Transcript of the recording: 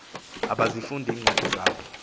abazifundi iincwadi zabo